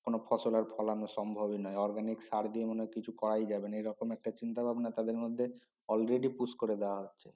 কোন ফসল ফোলান সম্ভবি নয় organic সার দিয়ে কিছু করাই যায় না এই রকম একটা চিন্তা ভাবনা তাদের মধ্যে already push করে দেওয়া হচ্ছে